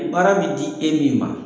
Baara bi di e min ma.